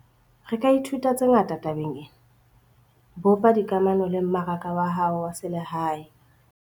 Re ka ithuta tse ngata tabeng ena - bopa dikamano le mmaraka wa hao wa selehae.